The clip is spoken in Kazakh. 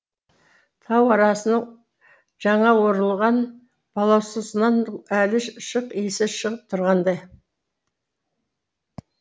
тау арасының жаңа орылған балаусасынан әлі шық иісі шығып тұрғандай